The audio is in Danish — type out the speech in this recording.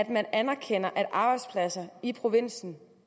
man anerkender at arbejdspladser i provinsen